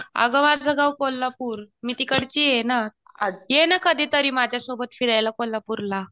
अगं माझं गाव कोल्हापूर, मी तिकडची ये ना. ये ना कधीतरी माझ्यासोबत फिरायला, कोल्हापूरला.